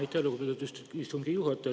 Aitäh, lugupeetud istungi juhataja!